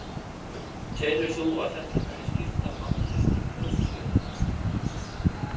Telur þú að þetta muni skipta máli í prófkjörinu?